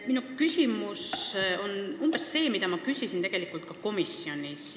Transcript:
Minu küsimus on umbes seesama, mida ma küsisin ka komisjonis.